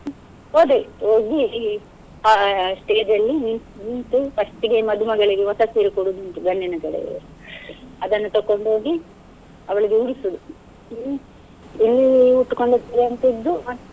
ಹೋದೆವು, ಹೋಗಿ ಆ stage ಅಲ್ಲಿ ನಿ~ ನಿಂತು first ಗೆ ಮದುಮಗಳಿಗೆ ಹೊಸ ಸೀರೆ ಕೊಡುದು ಉಂಟು ಗಂಡಿನ ಕಡೆ ಅವ್ರು, ಅದನ್ನು ತಕೊಂಡ್ ಹೋಗಿ ಅವ್ಳಿಗೆ ಉಡುಸುದು ಹ್ಮ್ ಇಲ್ಲಿ ಉಟ್ಟುಕೊಂಡ ಸೀರೆಯನ್ನು ತೆಗ್ದು ಮತ್ತೆ.